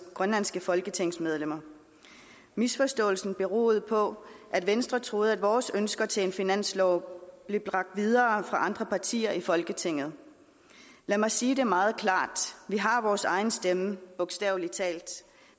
grønlandske folketingsmedlemmer misforståelsen beroede på at venstre troede at vores ønsker til finansloven blev bragt videre af andre partier i folketinget lad mig sige det meget klart vi har vores egen stemme bogstavelig talt